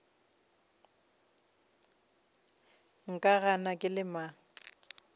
nka gana ke le mang